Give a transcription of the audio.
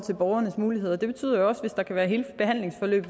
borgernes muligheder det betyder jo også at hvis der er hele behandlingsforløb